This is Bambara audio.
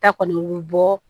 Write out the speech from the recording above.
Ta kɔni bɛ bɔ